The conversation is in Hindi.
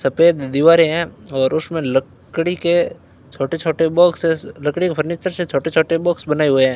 सफेद दीवारें हैं और उसमें लकड़ी के छोटे छोटे बॉक्सेस लकड़ी के फर्नीचर से छोटे छोटे बॉक्स बनाए हुए हैं।